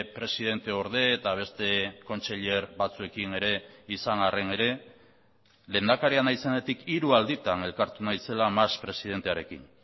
presidente orde eta beste kontseiler batzuekin ere izan arren ere lehendakaria naizenetik hiru alditan elkartu naizela mas presidentearekin